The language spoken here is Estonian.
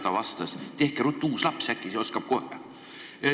Ta vastas: "Tehke ruttu uus laps, äkki see oskab kohe.